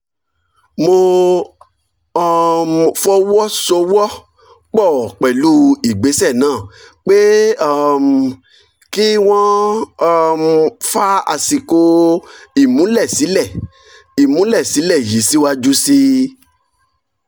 mo um fọwọ́ sowọ́ pọ̀ pẹ̀lú ìgbésẹ̀ náà pé um kí wọ́n um fa àsìkò ìmúlẹ̀sílẹ̀ ìmúlẹ̀sílẹ̀ yìí síwájú sí